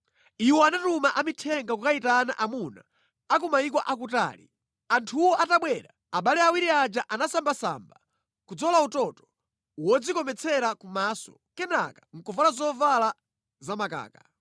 “Iwo anatuma amithenga kukayitana amuna a ku mayiko akutali. Anthuwo atabwera, abale awiri aja anasambasamba, kudzola utoto wodzikometsera kumaso, kenaka ndi kuvala zovala zamakaka.